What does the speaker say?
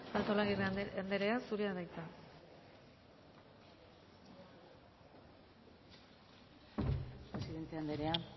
artolazabal andrea zurea da hitza presidente anderea